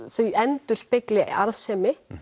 þau endurspegli arðsemi